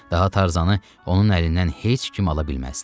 Daha Tarzanı onun əlindən heç kim ala bilməzdi.